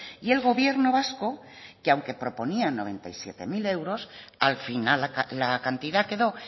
y el gobierno vasco que aunque proponía noventa y siete mil euros al final la cantidad quedó